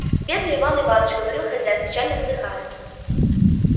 бедный иван иваныч говорил хозяин печально вздыхая